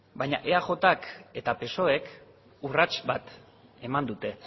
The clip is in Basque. baina eajk eta psoek urrats bat eman dute